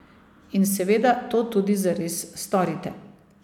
In seveda to tudi zares storite.